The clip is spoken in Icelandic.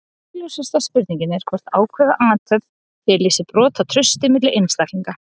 Augljósasta spurningin er hvort ákveðin athöfn feli í sér brot á trausti milli einstaklinga.